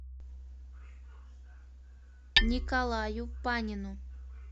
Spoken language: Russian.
николаю панину